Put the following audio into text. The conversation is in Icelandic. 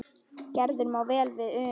Gerður má vel við una.